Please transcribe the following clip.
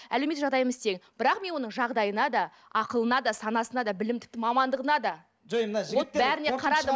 әлеуметтік жағдайымыз бірақ мен оның жағдайына да ақылына да санасына да білім тіпті мамандығына да жоқ енді мына жігіттер бәріне қарадым